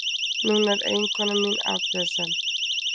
Núna er eiginkona mín afbrýðisöm.